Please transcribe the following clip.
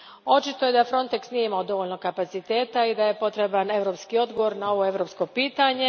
Očito je da Frontex nije imao dovoljno kapaciteta i da je potreban europski odgovor na ovo europsko pitanje.